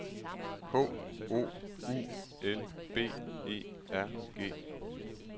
H O U L B E R G